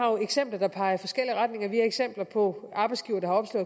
eksempler der peger i forskellige retninger vi har eksempler på arbejdsgivere der